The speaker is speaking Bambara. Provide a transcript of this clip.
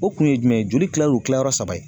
O kun ye jumɛn ye joli kilalen don kilanyɔrɔ saba ye